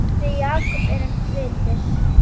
Við Jakob erum kvittir